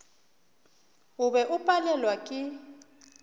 o be o palelwa ke